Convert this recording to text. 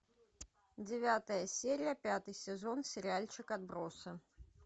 девятая серия пятый сезон сериальчик отбросы